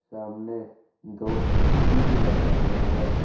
सामने दो स्कूटी भी लगा हुआ है।